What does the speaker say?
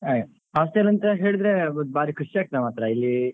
ಹಾಗೆ hostel ಅಂತ ಹೇಳಿದ್ರೆ ಬಾರಿ ಖುಷಿ ಆಗ್ತದೆ ಮಾತ್ರ ಇಲ್ಲಿ.